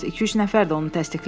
İki-üç nəfər də onu təsdiqlədi.